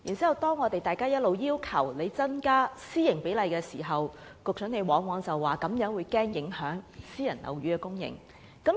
每當我們要求政府調整此比例時，局長往往推說恐怕會影響私營樓宇的供應。